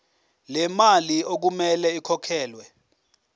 lemali okumele ikhokhelwe